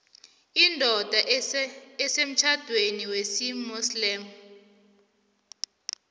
indoda esemtjhadweni wesimuslimu